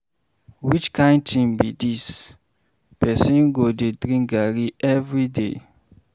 Which kin thing be dis, person go dey drink garri everyday.